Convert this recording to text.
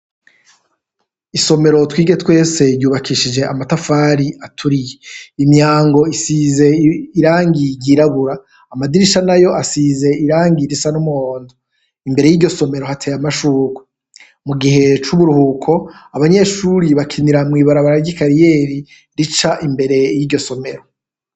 Isomero Twige twese ryubakishije amatafari aturiye, imyango isize irangi ryirabura amadirisha nayo asize irangi risa n'umuhondo, imbere yiryo somero hateye amashurwe, mu gihe c'uburuhuko abanyeshuri bakinira mw'ibarabara ry'ikariyeri rica imbere yiryo somero.